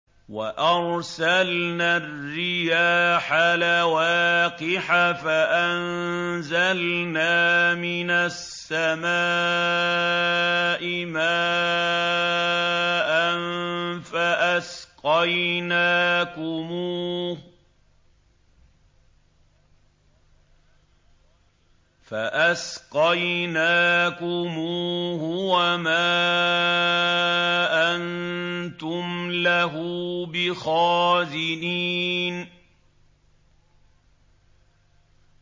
وَأَرْسَلْنَا الرِّيَاحَ لَوَاقِحَ فَأَنزَلْنَا مِنَ السَّمَاءِ مَاءً فَأَسْقَيْنَاكُمُوهُ وَمَا أَنتُمْ لَهُ بِخَازِنِينَ